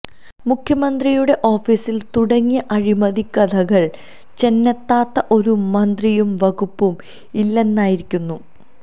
മുഖ്യമന്ത്രിയുടെ ഓഫീസില് തുടങ്ങിയ അഴിമതിക്കഥകള് ചെന്നെത്താത്ത ഒരു മന്ത്രിയും വകുപ്പും ഇല്ലെന്നായിരിക്കുന്നു